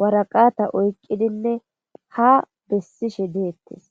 waraqata oyqqidinne ha bessishe deettes